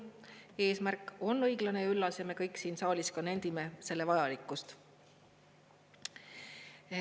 Eesmärk on õiglane ja üllas ja me kõik siin saalis ka nendime selle vajalikkust.